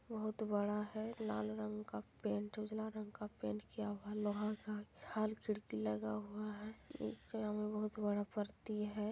बहुत बड़ा है। लाल रंग का पेंट उजला रंग का पेंट किया हुआ है| लोहा का लगा हुआ है| इस जगह में बहुत बड़ा परती है।